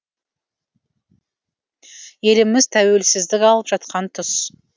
еліміз тәуелсіздік алып жатқан тұс